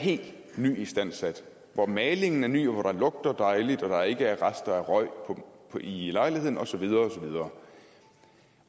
helt nyistandsat hvor malingen er ny og hvor der lugter dejligt og der ikke er rester af røg i lejligheden og så videre